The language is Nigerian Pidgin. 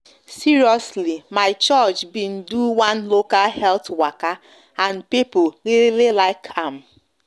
seriously my church been do one local health waka and people really like am